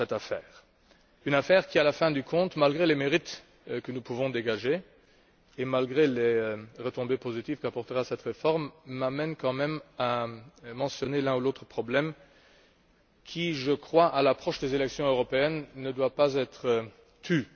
Ce dossier, en fin de compte, malgré les mérites que nous pouvons dégager et malgré les retombées positives qu'apportera cette réforme, m'amène quand même à mentionner l'un ou l'autre problème qui, je crois, à l'approche des élections européenne, ne doivent pas être tus.